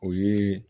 O ye